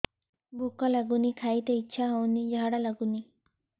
ଭୁକ ଲାଗୁନି ଖାଇତେ ଇଛା ହଉନି ଝାଡ଼ା ଲାଗୁନି